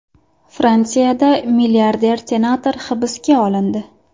Fransiyada milliarder senator hibsga olindi.